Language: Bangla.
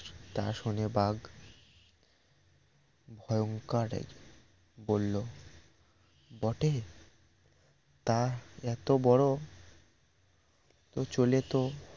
তা শুনে বাঘ ভয়ংকর এক বলল বটে তা এত বড় চলে তো